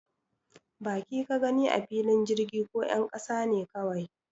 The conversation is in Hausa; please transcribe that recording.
Baki ka gani a filin jirgin ko 'yan kasa ne kawai?